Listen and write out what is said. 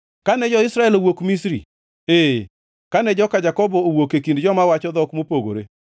Kane jo-Israel owuok Misri, ee, kane joka Jakobo owuok e kind joma wacho dhok mopogore,